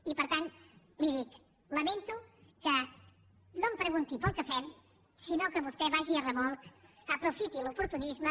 i per tant li dic lamento que no em pregunti pel que fem sinó que vostè vagi a remolc i aprofiti l’oportunisme